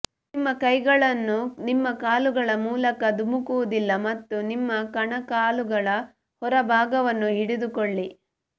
ನಿಮ್ಮ ಕೈಗಳನ್ನು ನಿಮ್ಮ ಕಾಲುಗಳ ಮೂಲಕ ಧುಮುಕುವುದಿಲ್ಲ ಮತ್ತು ನಿಮ್ಮ ಕಣಕಾಲುಗಳ ಹೊರಭಾಗವನ್ನು ಹಿಡಿದುಕೊಳ್ಳಿ